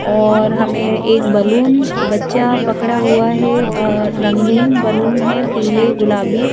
और हमें एक बलून बच्चा पकड़ा हुआ है रंगीन बलून है पीले गुलाबी--